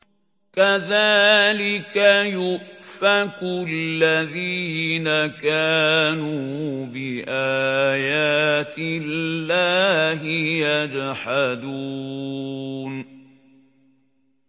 كَذَٰلِكَ يُؤْفَكُ الَّذِينَ كَانُوا بِآيَاتِ اللَّهِ يَجْحَدُونَ